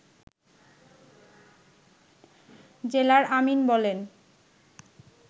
জেলার আমীন বলেন